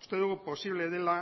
uste dugu posible dela